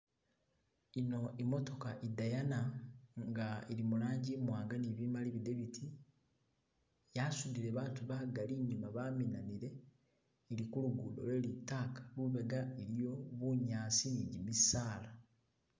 Ino imootoka idayana nga ili mulangi imwanga ni bimali bidebiti yasudile baatu bagali inyuma baminanile ili kulugudo lwe litaka lubega iliyo bunyasi ni gimisaala.